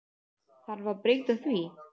Þarf að breyta því?